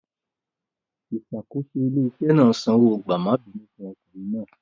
Ìṣàkóso ilé-iṣẹ́ náà sanwó gbààmọ́bìínú fún ọkùnrin náà.